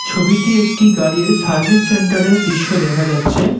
ছবিটি একটি গাড়ির সার্ভিস সেন্টার -এর দৃশ্য দেখা যাচ্ছে।